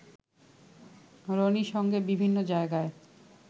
রনির সঙ্গে বিভিন্ন জায়গায়